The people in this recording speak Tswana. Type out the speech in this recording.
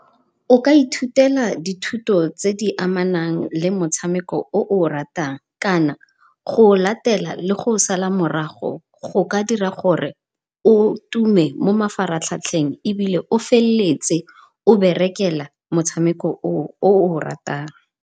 O ka ithutela dithuto tse di amanang le motshameko o o ratang kana go o latela le go o sala morago go ka dira gore o tume mo mafaratlhatlheng, ebile o feleletse o berekela motshameko o o o ratang.